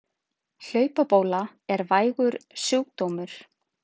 Hlaupabóla er vægur sjúkdómur.